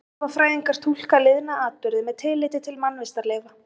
Fornleifafræðingar túlka liðna atburði með tilliti til mannvistarleifa.